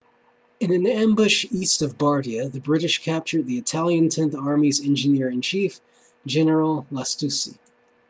in an ambush east of bardia the british captured the italian tenth army's engineer-in-chief general lastucci